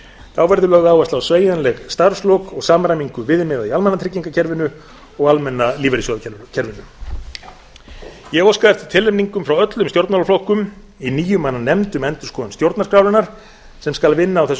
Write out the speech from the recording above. þá verður lögð áhersla á sveigjanleg starfslok og samræmingu viðmiða í almannatryggingakerfinu og almenna lífeyrissjóðakerfinu ég hef óskað eftir tilnefningum frá öllum stjórnmálaflokkum í níu manna nefnd um endurskoðun stjórnarskrárinnar sem skal vinna á þessu